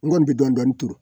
N kɔni bɛ dɔɔnin dɔɔnin turu